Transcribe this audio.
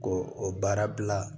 Ko o baara bila